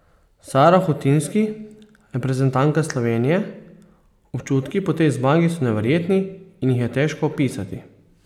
Sara Hutinski, reprezentantka Slovenije: "Občutki po tej zmagi so neverjetni in jih je težko opisati.